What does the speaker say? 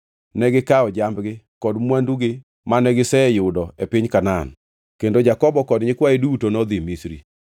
Negikawo jambgi kod mwandugi mane giseyudo e piny Kanaan, kendo Jakobo kod nyikwaye duto nodhi Misri.